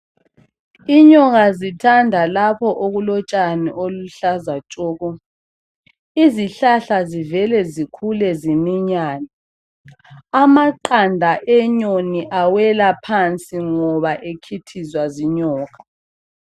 Inyoka zithanda lapho okulotshani oluluhlaza tshoko izihlahla zivele zikhule ziminyane amaqanda enyoni awela phansi ngoba ekhithizwa zinyoka.